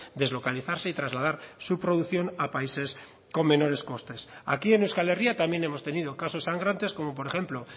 deslocalizarse y trasladar su producción a países con menores costes aquí en euskal herria también hemos tenido casos sangrantes como por ejemplo